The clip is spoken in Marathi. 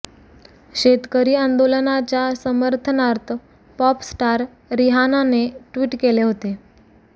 शेतकरी आंदोलनाच्या समर्थनार्थ पॉप स्टार रिहानाने ट्वीट केले होते